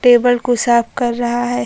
Table को साफ कर रहा है।